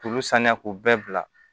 K'olu saniya k'u bɛɛ bila